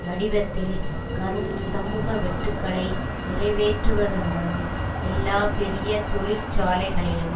வடிவத்தில் கரும் சமூக வெட்டுக்களை நிறைவேற்றுவதுடனும் எல்லா பெரிய தொழிற்சாலைகளிலும்